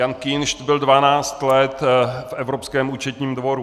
Jan Kinšt byl 12 let v Evropském účetním dvoru.